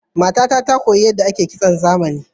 Matata ta koyo yadda ake kitson zamani.